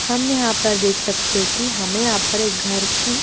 हम यहाँ पर देख सकते है की हमें यहाँ पर एक घर की --